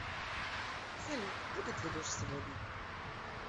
салют будет ли дождь сегодня